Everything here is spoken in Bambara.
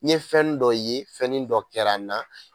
N ye fɛnni dɔ ye fɛnin dɔ kɛra n na